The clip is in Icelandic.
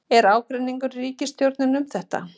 Er ágreiningur í ríkisstjórninni um þetta?